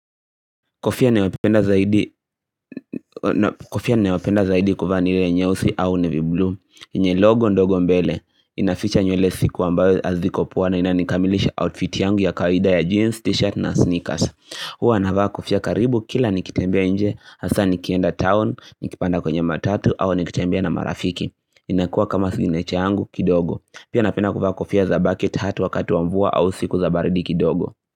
Kofia ninayopenda zaidi kuvaa niwapenda zaidi kuvaa ni lenye nyeusi au nevi blue Ienye logo ndogo mbele inaficha nywele siku ambayo haziko poa na ina nikamilisha outfit yangu ya kawida ya jeans, t-shirt na sneakers Hua navaa kofia karibu kila nikitembea nje hasa nikienda town, nikipanda kwenye matatu au nikitembea na marafiki inakua kama siginature yangu kidogo Pia napenda kuvaa kofia za bucket hat wakati wa mvua au siku za baridi kidogo.